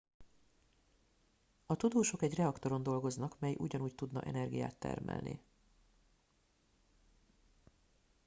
a tudósok egy reaktoron dolgoznak mely ugyanúgy tudna energiát termelni